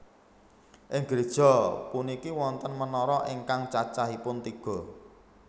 Ing gréja puniki wonten menara ingkang cacahipun tiga